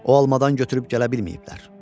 O almadan götürüb gələ bilməyiblər.